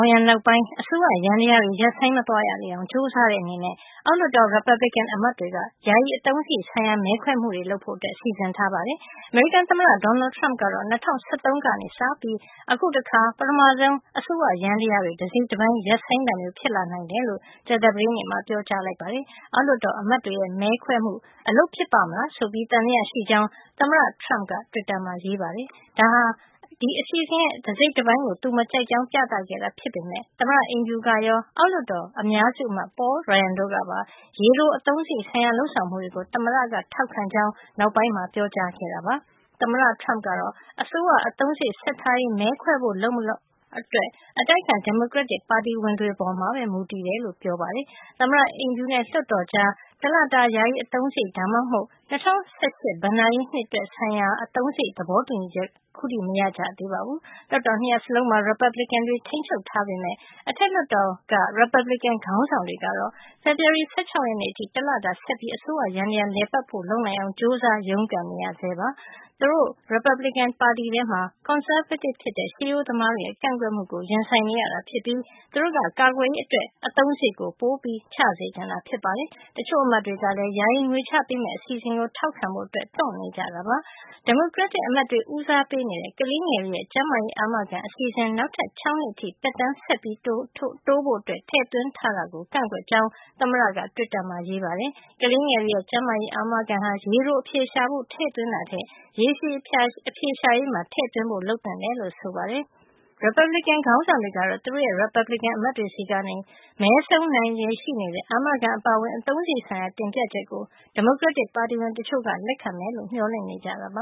င်ယံနောက်ပိုင်း အစိုးရယန္တရားတွေ ရပ်ဆိုင်းမသွားရလေအောင် ကြိုးစားတဲ့ အနေနဲ့ အောက်လွှတ်တော် ရီပတ်ဘလစ်ကင် အမတ်တွေက ယာယီအသုံးစားရိတ်ဆိုင်ရာ မဲခွဲမှုတွေ လုပ်ဖို့ စီစဉ်ထားပါတယ်။ အမေရိကန် သမ္မတ Donald Trump ကတော့ ၂၀၁၃ ကနေစပြီး အခုတခါ ပထမဆုံး အစိုးရယန္တရားတွေ တစိတ်တပိုင်း ရပ်ဆိုင်းတာမျိုး ဖြစ်လာနိုင်တယ်လို့ ကြာသပတေး မှာ ပြောကြားလိုက်ပါတယ်။ အောက်လွှတ်တော် အမတ်တွေရဲ့ မဲခွဲမှု အလုပ်ဖြစ်ပါ့မလား ဆိုပြီး သံသယ ရှိကြောင်း သမ္မတ Trump က တွစ်တာမှာ ရေးပါတယ်။ ဒါဟာ အစီအစဉ်တစိတ်တပိုင်းကို သူမကြိုက်ကြောင်း ပြသခဲ့တာ ဖြစ်ပေမယ့် သမ္မတအိမ်ဖြူကရော အောက်လွှတ်တော် အများစု အမတ် Paul Ryan တို့ကပါ ရေတိုအသုံးစားရိတ်ဆိုင်ရာ လုပ်ဆောင်မှုတွေကို သမ္မတက ထောက်ခံကြောင်း နောက်ပိုင်းမှာ ပြောကြားခဲ့ပါတယ်။ သမ္မတ Trump ကတော့ အစိုးရအသုံးစားရိတ် ဆက်ထားရေး မဲခွဲဖို့ လုပ်မလုပ် အတိုက်အခံ ဒီမိုကရက်တစ် ပါတီဝင်တွေ ပေါ်မှာပဲ မူတည်တယ်လို့ ပြောပါတယ်။ သမ္မတ အိမ်ဖြူနဲ့ လွှတ်တော်အမတ်တွေကြား တလတာ ယာယီအသုံးစားရိတ် ဒါမှမဟုတ် ၂၀၁၈ ဘဏ္ဍာရေးနှစ် အသုံးစားရိတ် ဆိုင်ရာသဘောတူညီချက်တွေက ခုထိ မရသေးပါဘူး လွှတ်တော် ၂ ရပ် စလုံးမှာ ရီပတ်ဘလစ်ကင်တွေက ထိမ်းချုပ်ထားပေမယ့် အထက်လွှတ်တော်က ရီပတ်ဘလစ်ကင် ခေါင်းဆောင်တွေ ကတော့ ဖေဖေါ်ဝါရီလ ၁၆ ရက်နေ့အထိ တလတာ ဆက်ပြီး အစိုးရ ယန္တရား လည်ပတ်ဖို့ လုပ်နိုင်အောင် ကြိုးစား ရုန်းကန်နေရဆဲပါ။ သူတို့ ရီပတ်ဘလစ်ကင်ပါတီထဲမှာ ကွန်ဆာဗေးတစ်ဖြစ်တဲ့ ရှေးရိုးသမားတွေရဲ့ ကန့်ကွက်မှုကို ရင်ဆိုင်နေရတာ ဖြစ်ပြီး သူတို့က ကာကွယ်ရေး အတွက် အသုံးစားရိတ်ပိုချစေချင်တာဖြစ်ပါတယ်။ တချို့ အမတ်တွေကလည်း ယာယီ ငွေချပေးမယ့် အစီစဉ်ကို ထောက်ခံဖို့ တွန့်နေကြတာ ဖြစ်ပါတယ်။ ဒီမိုကရက်တစ် အမတ်တွေ ဦးစားပေးနေတဲ့ ကလေးငယ်တွေရဲ့ ကျန်းမာရေးအာမခံ အစီအစဉ် နောက်ထပ် ၆ နှစ် အထိ သက်တမ်း ဆက်တိုးဖို့ ထည့်သွင်းထားတာကို ကန့်ကွက်ကြောင်း သမ္မတက တွစ်တာမှာရေးပါတယ်။ ကလေးငယ်တွေရဲ့ ကျန်းမာရေး အာမခံဟာ ရေတို အဖြေရှာဖို့ ထည့်သွင်းတာထက် ရေရှည်အဖြေရှာရေးမှာ ထည့်သွင်းဖို့ လုပ်သင့်တယ်လို့ ဆိုပါတယ်။ ရီပတ်ဘလစ်ကင် ခေါင်းဆောင်တွေကတော့ သူတို့ရဲ့ ရီပါတ်ဘလစ်ကင်အမတ်တွေ ဆီက မဲဆုံးနိုင်ချေရှိနေတဲ့ အာမခံအပါအဝင် အသုံးစားရိတ် ဆိုင်ရာ တင်ပြချက်ကို ဒီမိုကရက်ပါတီဝင် တချို့က လက်ခံမယ်လို့မျှော်လင့်နေကြတာပ